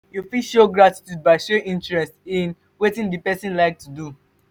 you fit show gratitude by showing interest in wetin di person like to dey do